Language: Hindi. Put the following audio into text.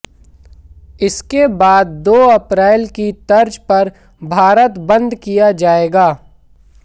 इसके बाद दो अप्रैल की तर्ज पर भारत बंद किया जाएगा